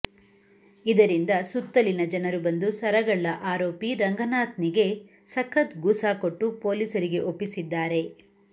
ಇದರಿಂದ ಸುತ್ತಲಿನ ಜನರು ಬಂದು ಸರಗಳ್ಳ ಆರೋಪಿ ರಂಗನಾಥ್ ನಿಗೆ ಸಖತ್ ಗೂಸಾ ಕೊಟ್ಟು ಪೊಲೀಸರಿಗೆ ಒಪ್ಪಿಸಿದ್ದಾರೆ